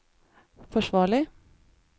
forsvarlig